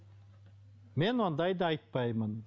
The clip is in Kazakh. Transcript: мен ондайды айтпаймын